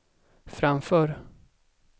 framför